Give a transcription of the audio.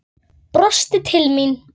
Var þau að dreyma?